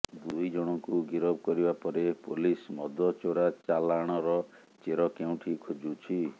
ଦୁଇ ଜଣଙ୍କୁ ଗିରଫ କରିବା ପରେ ପୋଲିସ ମଦ ଚୋରା ଚାଲାଣର ଚେର କେଉଁଠି ଖୋଜୁଛି